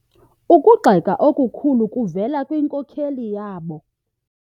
Ukugxeka okukhulu kuvele kwinkokeli yabo.